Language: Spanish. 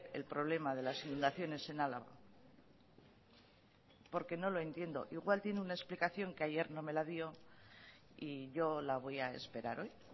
el problema de las inundaciones en álava porque no lo entiendo igual tiene una explicación que ayer no me la dio y yo la voy a esperar hoy